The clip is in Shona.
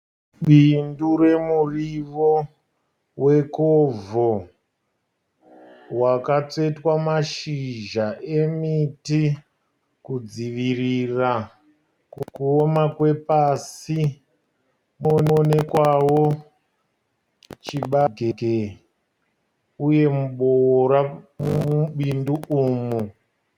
Bindu remurivo wekovho, wakatsvetwa mashizha emiti kudzivirira kuoma kwepasi. Kunoonekwawo chibage uye muboora mubindu umu